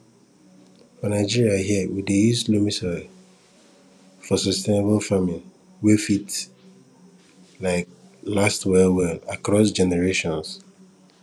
for nigeria here we dey use loamy soil for sustainable farming wey fit um last well well across generations